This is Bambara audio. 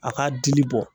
A ka dili bɔ